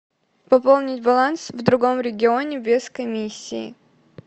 пополнить баланс в другом регионе без комиссии